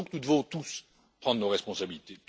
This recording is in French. Nous devons donc tous prendre nos responsabilités.